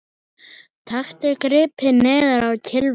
Taktu gripið neðar á kylfuna